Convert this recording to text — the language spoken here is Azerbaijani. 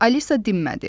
Alisa dinmədi.